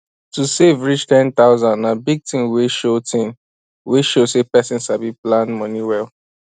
to save reach 10000 na big thing wey show thing wey show say person sabi plan money well